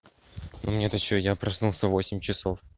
мне то что я проснулся в восемь часов